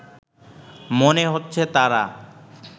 মনে হচ্ছে তারা